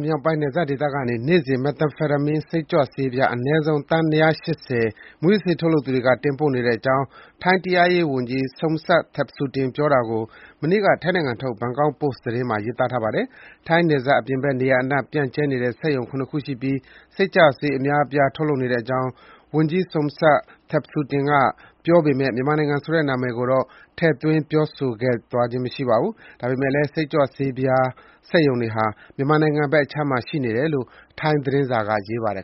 မြောက်ပိုင်း နယ်စပ်ဒေသကနေ နေ့စဉ် မက်သမ်ဖက်တာမင်း (Methamphetamine) စိတ်ကြွဆေးပြား အနည်းဆုံး သန်း ၂၈၀ ကို မူးယစ်ဆေးထုတ်လုပ်သူတွေက တင်ပို့နေတဲ့အကြောင်း ထိုင်းတရားရေးဝန်ကြီး Somsak Thepsutin ကို ကိုးကားပြီး မနေ့က ထိုင်းနိုင်ငံထုတ် ဘန်ကောက်ပို့စ်သတင်းစာမှာ ရေးသားပါတယ်။ ထိုင်းနယ်စပ်အပြင်ဘက် နေရာအနှံ့ ပြန့်ကျဲနေတဲ့ စက်ရုံ ၇ ခုရှိပြီး စိတ်ကြွဆေးအများအပြား ထုတ်လုပ်နေကြောင်း ဝန်ကြီး Somsak Thepsutin ကပြောပေမယ့် မြန်မာနိုင်ငံဆိုတဲ့နာမည်ကို ထည့်သွင်းပြောကြားသွားခြင်း မရှိပါဘူး။ ဒါပေမယ့်လည်း စိတ်ကြွဆေးပြား စက်ရုံတွေဟာ မြန်မာနိုင်ငံဘက်ခြမ်းမှာလို့ ထိုင်းသတင်းစာက ရေးပါတယ်